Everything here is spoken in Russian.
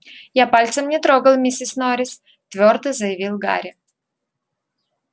я пальцем не трогал миссис норрис твёрдо заявил гарри